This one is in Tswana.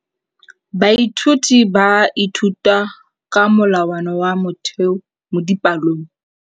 Baithuti ba ithuta ka molawana wa motheo mo dipalong.